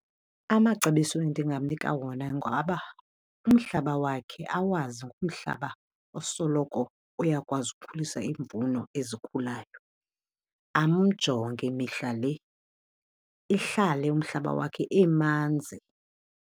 Amacebiso endingamnika wona ngaba umhlaba wakhe awazi ngumhlaba osoloko uyakwazi ukhulisa imvuno ezikhulayo. Amjonge mihla le ihlale umhlaba wakhe emanzi.